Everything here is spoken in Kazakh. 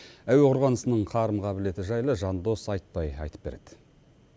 әуе қорғанысының қарым қабілеті жайлы жандос айтпай айтып береді